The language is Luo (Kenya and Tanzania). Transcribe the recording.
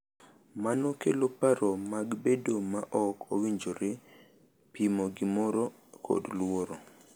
Mano kelo paro mag bedo ma ok owinjore, pimo gimoro, kod luoro .